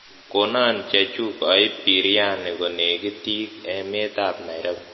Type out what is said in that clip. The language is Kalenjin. konon chechuk oib biriani konegitik emeet ab nairobi